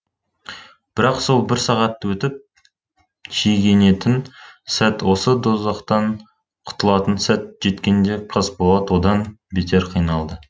бірақ сол бір сағат өтіп шегінетін сәт осы дозақтан құтылатын сәт жеткенде қасболат одан бетер қиналды